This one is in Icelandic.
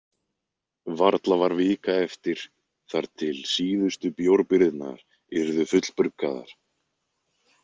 Varla var vika eftir þar til síðustu bjórbirgðirnar yrðu fullbruggaðar.